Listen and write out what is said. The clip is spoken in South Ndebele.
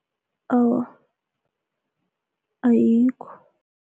Awa, ayikho.